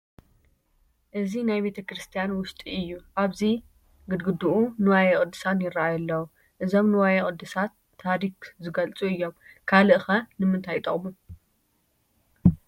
እዚ ናይ ቤተ ክርስቲያን ውሽጢ እዩ፡፡ ኣብቲ ግድግድኡ ንዋየ ቅድሳት ይርአዩ ኣለዉ፡፡ እዞም ንዋየ ቅድሳት ታሪክ ዝገልፁ እዮም፡፡ ካልእ ኸ ንምንታይ ይጠቕሙ?